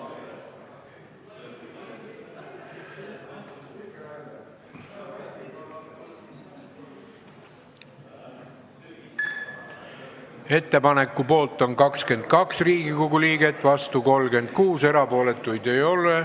Hääletustulemused Ettepaneku poolt on 22 Riigikogu liiget, vastu 36, erapooletuid ei ole.